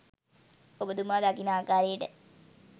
ඔබතුමා දකින ආකාරයට